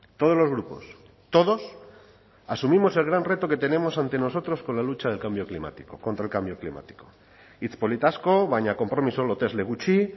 todos los grupos todos asumimos el gran reto que tenemos ante nosotros con la lucha del cambio climático contra el cambio climático hitz polit asko baina konpromiso lotesle gutxi